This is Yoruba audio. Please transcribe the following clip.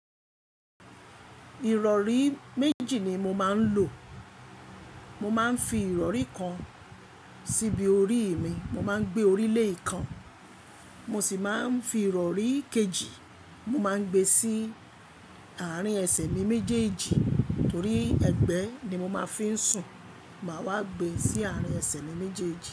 Ìrọ̀rí méjì ni mo máa ń lò. Mo máa ń fi ìrọ̀rí kan síbi orí ì mi, mo máa ń gbé orí lé ìkan. Mo sì máa ń fi ìrọ̀rí kejì, mo máa ń gbe sí àárín ẹsẹ̀ mi méjèèjì torí ẹgbẹ́ ni mo máa fi ń sùn. Màá wá gbe sí àárín ẹsẹ̀ mi méjèèjì.